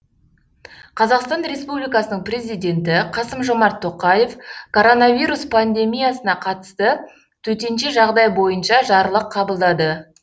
қазақстан республикасының президенті қасым жомарт тоқаев коронавирус пандемиясына қатысты төтенше жағдай бойынша жарлық қабылдады